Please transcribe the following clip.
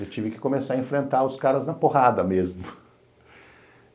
Eu tive que começar a enfrentar os caras na porrada mesmo.